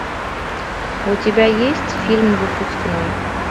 у тебя есть фильм выпускной